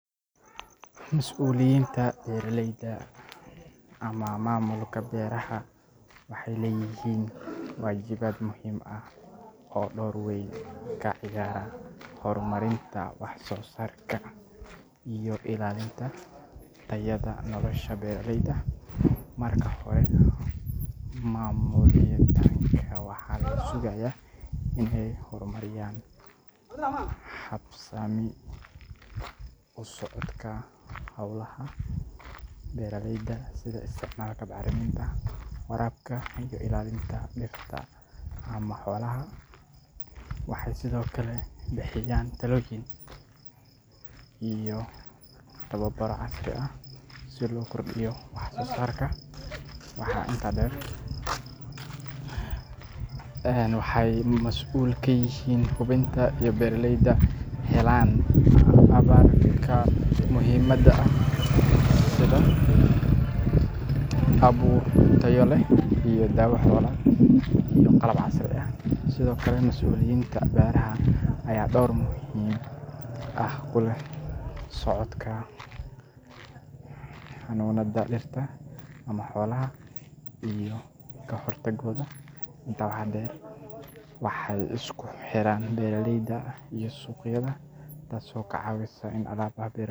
Wasaaradda Beeraha waa hay’adda dowladeed ee ugu weyn ee ka shaqeysa horumarinta, ilaalinta, iyo kobcinta wax soo saarka beeraha ee dalka. Shaqooyinka ugu waaweyn ee Wasaaradda Beeraha waxaa ka mid ah dejinta siyaasadaha iyo qorshayaasha ku saabsan beeraha, taageerida beeraleyda iyadoo la siinayo tababaro iyo farsamooyin casri ah, iyo dhiirrigelinta isticmaalka teknoolojiyada si loo kordhiyo wax soo saarka iyo tayada dalagyada. Sidoo kale, Wasaaraddu waxay mas’uul ka tahay ilaalinta khayraadka dabiiciga ah sida biyaha iyo dhulka beeraha, iyadoo hubinaysa in si waara loo maareeyo si loo sugo mustaqbalka.